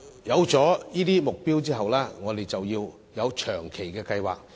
定下目標後，我們要有長遠計劃。